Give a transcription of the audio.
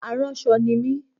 Aránṣọ ni mi